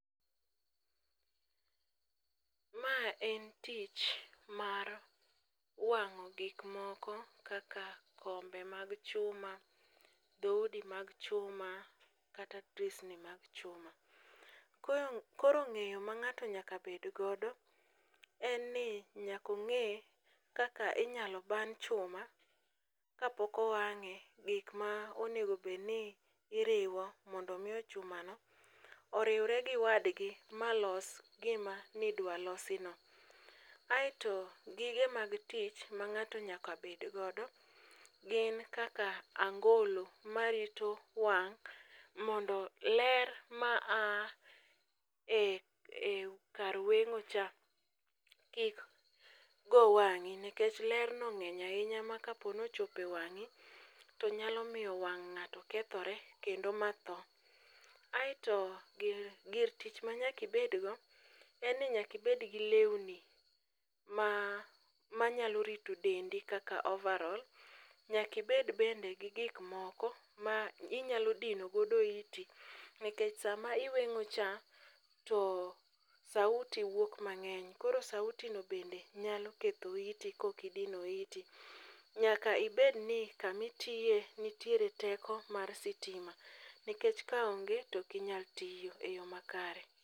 Ma en tich mar wang'o gik moko kaka kombe mag chuma, dhoudi mag chuma kata drisni mag chuma. Koro ng'eyo ma ng'ato nyaka bed godo en ni nyaka ong'e kaka inyalo ban chuma kapok owang'e, gik ma onego obedni iriwo mondo omi chumano oriwre gi wadgi ma los gima nidwa losino. Aeto gige mag tich ma ng'ato nyaka bed godo gin kaka angolo marito wang' mondo ler ma aa e kar weng'ocha kik go wang'i nikech lerno ng'eny ahinya ma kapo ni ochopo e wang'i to nyalo miyo wang' ng'ato kethore kendo matho. Aeto gir tich manyaka ibedgo en ni nyaka ibed gi lewni ma nyalo rito dendi kaka ovarol, nyaka ibed bende gi gikmoko ma inyalo dino godo iti, nikech sama iweng'ocha, to sauti wuok mang'eny, koro sauti no bende nyalo ketho iti kok idino iti. Nyaka ibedni kama itiye nitiere teko mat sitima nikech kaonge to ok inyal tiyo e yo makare.